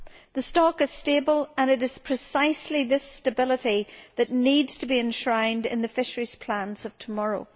The stock is stable and it is precisely this stability that needs to be enshrined in the fisheries plans of tomorrow.